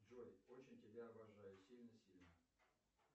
джой очень тебя обожаю сильно сильно